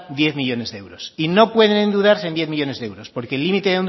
diez millónes de euros y no pueden endeudarse en diez millónes de euros porque el límite